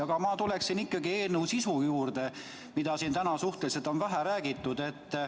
Aga ma tulen ikkagi eelnõu sisu juurde, millest siin on täna suhteliselt vähe räägitud.